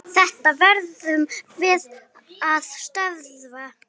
Þetta verðum við að stöðva.